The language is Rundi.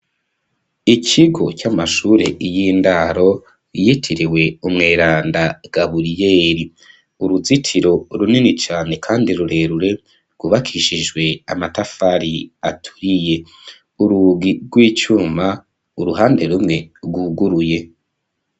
Ikigo, c'amashure y'indaro, yitiriwe umweranda Gaburiyeri; uruzitiro runini cane, kandi rurerure, rwubakishijwe amatafari aturiye; urugi rw'icuma, uruhande rumwe, rwuguruye.